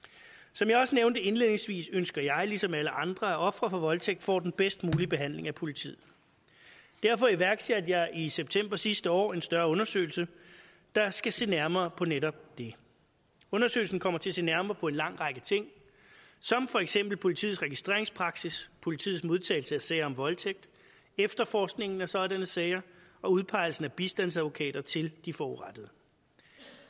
som jeg også nævnte indledningsvis ønsker jeg ligesom alle andre at ofre for voldtægt får den bedst mulige behandling af politiet derfor iværksatte jeg i september sidste år en større undersøgelse der skal se nærmere på netop det undersøgelsen kommer til at se nærmere på en lang række ting som for eksempel politiets registreringspraksis politiets modtagelse af sager om voldtægt efterforskningen af sådanne sager og udpegelse af bistandsadvokater til de forurettede